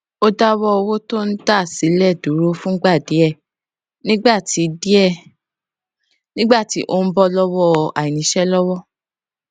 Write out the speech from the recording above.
aládùúgbò wa kan sọ kan sọ fún wa pé ká gba ònà kúkúrú tó wà léyìn iléèwé náà